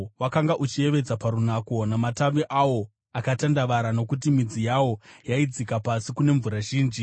Wakanga uchiyevedza parunako, namatavi awo akatandavara, nokuti midzi yawo yaidzika pasi kune mvura zhinji.